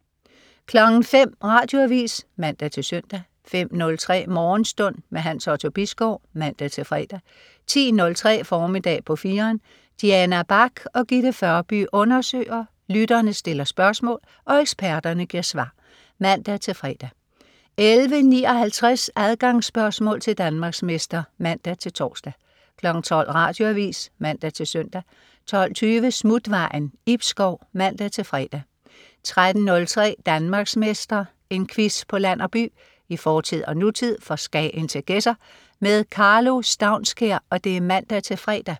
05.00 Radioavis (man-søn) 05.03 Morgenstund. Hans Otto Bisgaard (man-fre) 10.03 Formiddag på 4'eren. Diana Bach og Gitte Førby undersøger, lytterne stiller spørgsmål og eksperterne giver svar (man-fre) 11.59 Adgangsspørgsmål til Danmarksmester (man-tors) 12.00 Radioavis (man-søn) 12.20 Smutvejen. Ib Schou (man-fre) 13.03 Danmarksmester. En quiz på land og by, i fortid og nutid, fra Skagen til Gedser. Karlo Staunskær (man-fre)